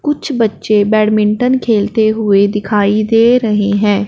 कुछ बच्चे बैटमिंटन खेलते हुए दिखाई दे रहे हैं।